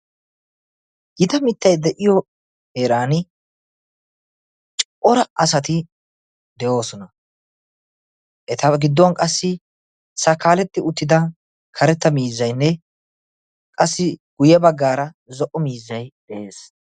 Gita mittay de'iyoo heeran cora asati de'oosona. eta gidduwaan qassi sakaaletti uttida miizzayinne qassi guye baggaara zo'o miizzay de'ees.